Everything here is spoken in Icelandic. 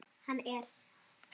Hann er